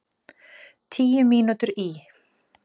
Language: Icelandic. Tíu mínútur í